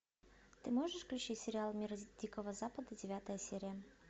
ты можешь включить сериал мир дикого запада девятая серия